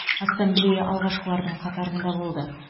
ассамблея алғашқылардың қатарында болды